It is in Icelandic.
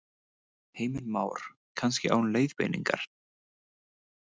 Heimir Már: Kannski án leiðbeiningar?